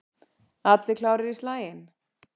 Allir klárir í slaginn?